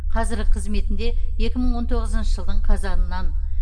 қазіргі қызметінде екі мың он тоғызыншы жылдың қазанынан